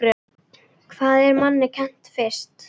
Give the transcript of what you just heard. Hvað er manni kennt fyrst?